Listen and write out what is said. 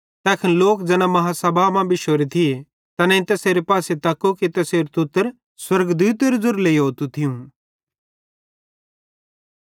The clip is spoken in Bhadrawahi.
तैखन लोक ज़ैना बेड्डी आदालती मां बिश्शोरे थी तैसेरे पासे तक्कू कि तैसेरू तुतर स्वर्गदूतेरे ज़ेरू लेइहोतू थियूं